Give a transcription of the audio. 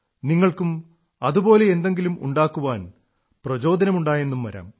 നിങ്ങൾക്കും അതുപോലെ എന്തെങ്കിലും ഉണ്ടാക്കാൻ പ്രേരണയുണ്ടായെന്നു വരാം